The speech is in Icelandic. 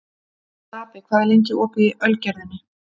Stapi, hvað er lengi opið í Ölgerðinni?